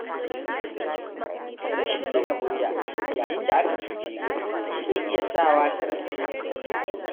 Rashin ɗaga murya yayin da aka cuce ka, zai iya sawa ka rasa haƙƙinka